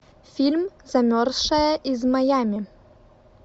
фильм замерзшая из майами